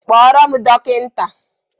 Kpọrọ m dọkịta!